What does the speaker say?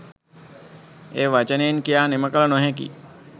එය වචනයෙන් කියා නිමකළ නොහැකියි.